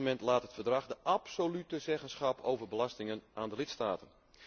Op dit moment laat het Verdrag de absolute zeggenschap over belastingen aan de lidstaten.